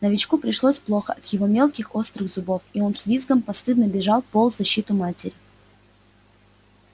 новичку пришлось плохо от его мелких острых зубов и он с визгом постыдно бежал пол защиту матери